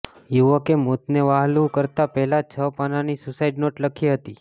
યુવકે મોતને વ્હાલું કરતા પહેલા છ પાનાની સૂસાઈડ નોટ લખી હતી